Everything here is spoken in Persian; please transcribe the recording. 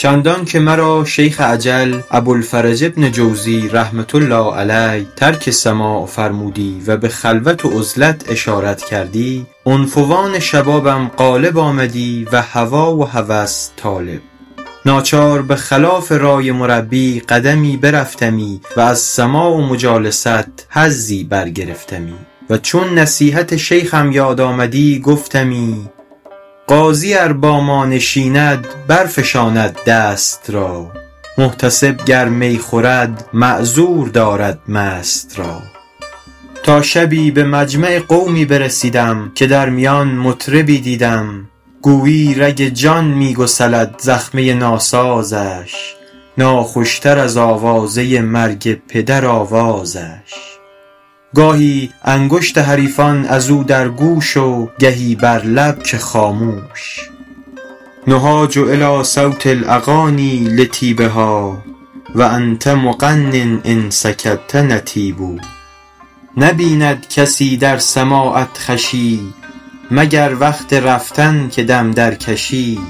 چندان که مرا شیخ اجل ابوالفرج بن جوزی رحمة الله علیه ترک سماع فرمودی و به خلوت و عزلت اشارت کردی عنفوان شبابم غالب آمدی و هوا و هوس طالب ناچار به خلاف رای مربی قدمی برفتمی و از سماع و مجالست حظی برگرفتمی و چون نصیحت شیخم یاد آمدی گفتمی قاضی ار با ما نشیند برفشاند دست را محتسب گر می خورد معذور دارد مست را تا شبی به مجمع قومی برسیدم که در میان مطربی دیدم گویی رگ جان می گسلد زخمه ناسازش ناخوش تر از آوازه مرگ پدر آوازش گاهی انگشت حریفان از او در گوش و گهی بر لب که خاموش نهاج الیٰ صوت الاغانی لطیبها و انت مغن ان سکت نطیب نبیند کسی در سماعت خوشی مگر وقت رفتن که دم درکشی